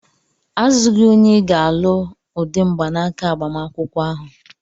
Azụghị onye ị ga-alụ ụdị mgbanaka agbamakwụkwọ ahụ!